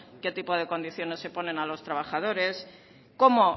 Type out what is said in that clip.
qué tipos de condiciones se ponen a los trabajadores cómo